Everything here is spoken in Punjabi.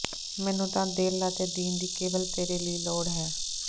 ਮੈਨੂੰ ਤਾਂ ਦਿਲ ਅਤੇ ਦੀਨ ਦੀ ਕੇਵਲ ਤੇਰੇ ਲਈ ਲੋੜ ਹੈ